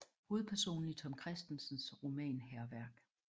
Hovedpersonen i Tom Kristensens roman Hærværk